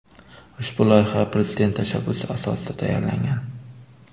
Ushbu loyiha Prezident tashabbusi asosida tayyorlangan.